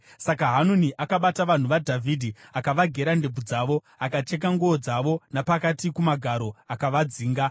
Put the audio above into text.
Saka Hanuni akabata vanhu vaDhavhidhi, akavagera ndebvu dzavo, akacheka nguo dzavo napakati kumagaro, akavadzinga.